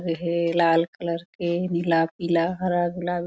एहे लाल कलर के नीला पीलाहरा गुलाबी--